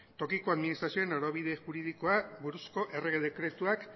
tokiko administrazioen norabide juridikoari buruzko errege dekretuak